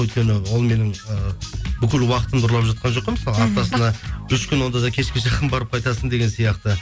өйткені ол менің і бүкіл уақытымды ұрлап жатқан жоқ қой мысалы аптасына үш күн онда да кешке жақын барып қайтасың деген сияқты